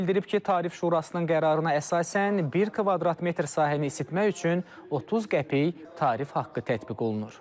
O bildirib ki, Tarif Şurasının qərarına əsasən, bir kvadrat metr sahəni isitmək üçün 30 qəpik tarif haqqı tətbiq olunur.